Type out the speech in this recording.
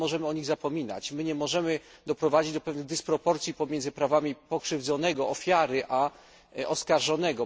My nie możemy o nich zapominać, nie możemy doprowadzić do pewnych dysproporcji pomiędzy prawami pokrzywdzonego, a oskarżonego.